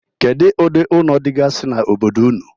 Kedu ụdị ụlọ dịgasị n'obodo ụnụ?